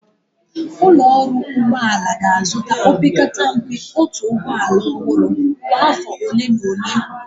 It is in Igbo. Ụlọ ọrụ ụgbọ ala ga-azụta, opekata mpe otu ụgbọ ala ọhụrụ kwa afọ ole na ole.